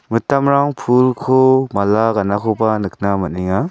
mitamrang pulko mala ganakoba nikna man·enga.